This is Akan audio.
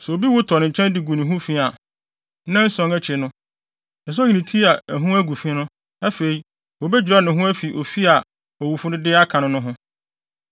“Sɛ obi wu tɔ ne nkyɛn de gu ne ho fi a, nnanson akyi no, ɛsɛ sɛ oyi ne tinwi a ɛho agu fi no. Afei, wobedwira ne ho afi fi a owufo no de aka no no ho.